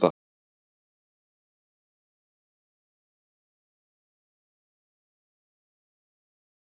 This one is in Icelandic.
Heimir: Ertu ánægð með það Sigurbjörg að fara á nýja staðinn?